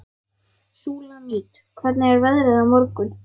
Súlamít, hvernig er veðrið á morgun?